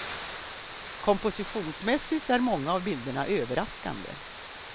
Kompositionsmässigt är många av bilderna överraskande.